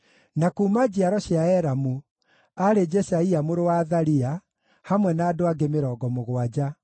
na kuuma njiaro cia Elamu, aarĩ Jeshaia mũrũ wa Athalia, hamwe na andũ angĩ 70;